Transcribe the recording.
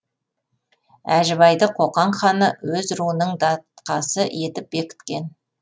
әжібайды қоқан ханы өз руының датқасы етіп бекіткен